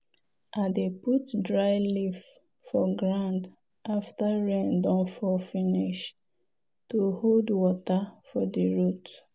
i dey put dry leaf for ground after rain don fall finish to hold water for di root.